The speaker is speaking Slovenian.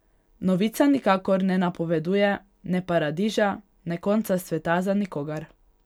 Novica nikakor ne napoveduje ne paradiža ne konca sveta za nikogar.